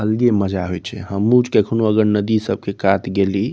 हल्दी मज़ा आवे छै अगर नदी सब के कात गेइली।